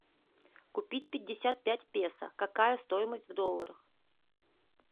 купить пятьдесят пять песо какая стоимость в долларах